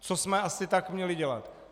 Co jsme asi tak měli dělat?